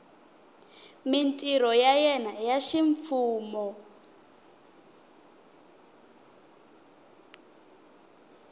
mintirho ya yena ya ximfumo